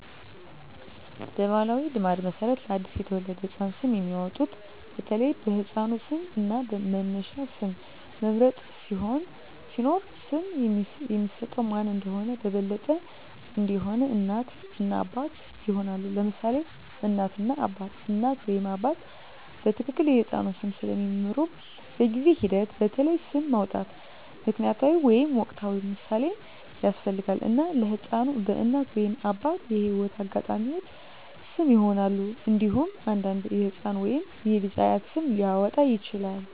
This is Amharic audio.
በባሕላዊ ልማድ መሠረት ለአዲስ የተወለደ ህፃን ስም የሚያወጡት በተለይ በሕፃኑ ስም እና በመነሻ ስም መምረጥ ሲኖር፣ ስም የሚሰጠው ማን እንደሆነ በበለጠ እንዲሆን፣ እናት እና አባት ይሆናሉ: ለምሳሌ እናት እና አባት: እናት ወይም አባት በትክክል የሕፃኑን ስም ስለሚምሩ፣ በጊዜ ሂደት በተለይ ስም ማውጣት ምክንያታዊ ወይም ወቅታዊ ምሳሌን ያስፈልጋል፣ እና ለሕፃኑ በእናት ወይም አባት የህይወት አጋጣሚዎች ስም ይሆናል። እንዴሁም አንዳንዴ የህፃኑ ወይም የልጁ አያት ስም ሊያወጣ ይችላል።